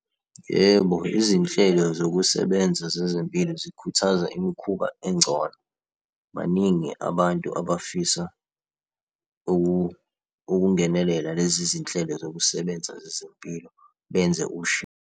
Yebo, izinhlelo zokusebenza zezempilo zikhuthaza imikhuba engcono. Baningi abantu abafisa ukungenelela lezi zinhlelo zokusebenza zezempilo benze .